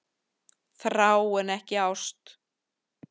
Þrá en ekki ást